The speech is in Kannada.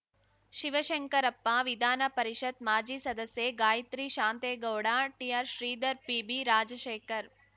ಶಿವಶಂಕರಪ್ಪ ವಿಧಾನ ಪರಿಷತ್‌ ಮಾಜಿ ಸದಸ್ಯೆ ಗಾಯತ್ರಿ ಶಾಂತೇಗೌಡ ಟಿಆರ್‌ ಶ್ರೀಧರ್‌ ಪಿಬಿ ರಾಜಶೇಖರ್‌